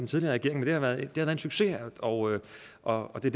tidligere regering det har været en succes og og det